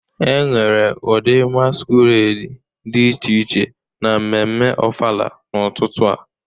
Enwere ụdị masquerade dị iche iche na mmemme ofala n'ụtụtụ a